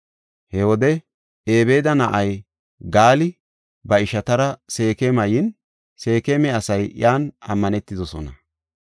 He wode Ebeeda na7ay Gaali ba ishatara Seekema yin, Seekema asay iyan ammanetidosona.